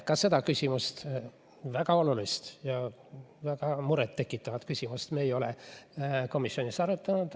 Ka seda küsimust, väga olulist ja väga muret tekitavat küsimust me ei ole komisjonis arutanud.